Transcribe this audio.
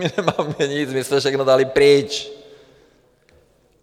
My nemáme nic, my jsme všechno dali pryč.